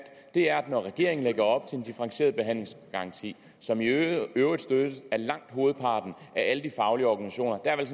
er at når regeringen lægger op til en differentieret behandlingsgaranti som i øvrigt støttes af langt hovedparten af alle de faglige organisationer der er